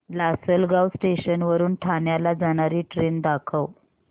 Lasalgaon station वरून ठाण्याला जाणारी ट्रेन दाखव